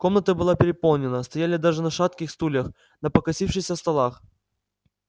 комната была переполнена стояли даже на шатких стульях на покосившихся столах